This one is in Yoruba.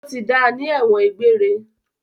Wọ́n ti da ní ẹ̀wọ̀n egbére.